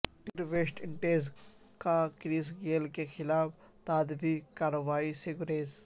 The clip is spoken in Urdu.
کرکٹ ویسٹ انڈیز کا کرس گیل کے خلاف تادیبی کارروائی سے گریز